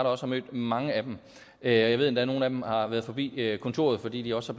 også har mødt mange af dem jeg ved endda at nogle af dem har været forbi kontoret fordi de også